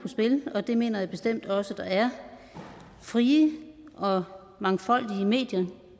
på spil og det mener jeg bestemt også der er frie og mangfoldige medier